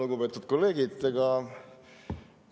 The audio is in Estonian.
Lugupeetud kolleegid!